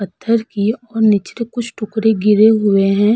पत्थर के कुछ टुकड़े गिरे हुए हैं।